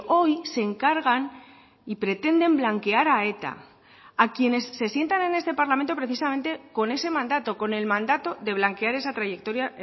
hoy se encargan y pretenden blanquear a eta a quienes se sientan en este parlamento precisamente con ese mandato con el mandato de blanquear esa trayectoria